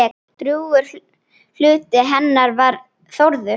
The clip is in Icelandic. Drjúgur hluti hennar var Þórður.